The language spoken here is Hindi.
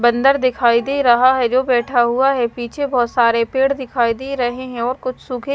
बंदर दिखाई दे रहा है जो बैठा हुआ है पीछे बहुत सारे पेड़ दिखाई दे रहे हैं और कुछ सूखी।